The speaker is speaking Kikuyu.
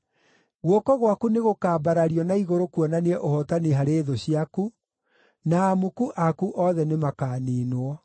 Guoko gwaku nĩgũkambarario na igũrũ kuonanie ũhootani harĩ thũ ciaku, na amuku aku othe nĩmakaniinwo.